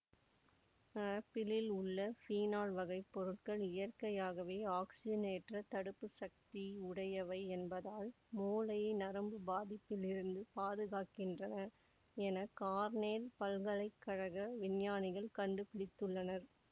ஆப்பிளில் உள்ள ஃபீனால் வகைப் பொருட்கள் இயற்கையாகவே ஆக்சிஜனேற்றத் தடுப்புச்சக்தி உடையவை என்பதால் மூளையை நரம்புப் பாதிப்பிலிருந்து பாதுகாக்கின்றன என கார்னெல் பல்கலை கழக விஞ்ஞானிகள் கண்டு பிடித்துள்ளனர்